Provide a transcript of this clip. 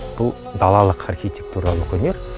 бұл далалық архитектуралық өнер